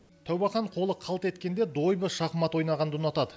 тәубәхан қолы қалт еткенде дойбы шахмат ойнағанды ұнатады